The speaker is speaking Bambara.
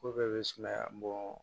Ko bɛɛ bɛ sumaya bɔ